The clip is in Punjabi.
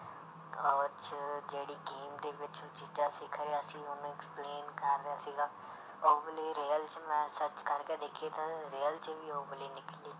ਉਹ 'ਚ ਜਿਹੜੀ game ਦੇ ਵਿੱਚ ਚੀਜ਼ਾਂ ਸਿੱਖ ਰਿਹਾ ਸੀ ਉਹਨੂੰ explain ਕਰ ਰਿਹਾ ਸੀਗਾ, ਉਹ ਵਾਲੀ real 'ਚ ਮੈਂ search ਕਰਕੇ ਦੇਖੀ ਤਾਂ real 'ਚ ਵੀ ਉਹ ਵਾਲੀ ਨਿਕਲੀ।